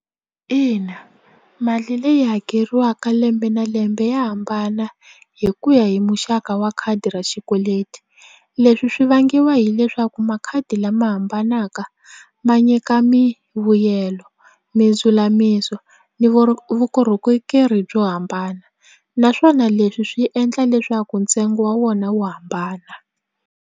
Ina mali leyi hakeriwaka lembe na lembe ya hambana hi ku ya hi muxaka wa khadi ra xikweleti leswi swi vangiwa hileswaku makhadi lama hambanaka ma nyika mivuyelo mindzulamiso ni byo hambana naswona leswi swi endla leswaku ntsengo wa wona wu hambana.